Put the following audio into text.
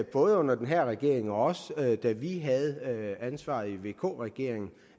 både under den her regering og også da vi havde ansvaret i vk regeringen